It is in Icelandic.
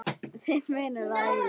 Þinn vinur að eilífu.